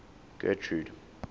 getrude